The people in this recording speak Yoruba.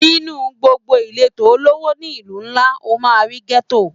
Nínú gbogbo ìletò olówó ni ìlú ńlá, o máa rí Gétò.